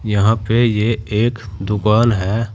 यहां पे ये एक दुकान है।